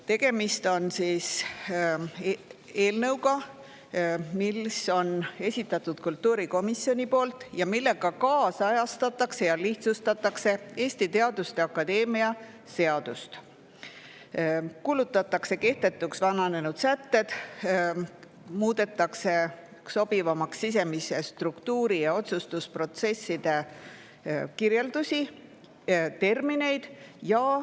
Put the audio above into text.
Tegemist on eelnõuga, mille on esitanud kultuurikomisjon ning millega ajakohastatakse ja lihtsustatakse Eesti Teaduste Akadeemia seadust: kuulutatakse kehtetuks vananenud sätted, muudetakse sobivamaks sisemise struktuuri ja otsustusprotsesside kirjeldusi, termineid.